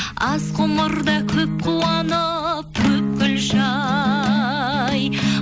аз ғұмырда көп қуанып көп күлші ай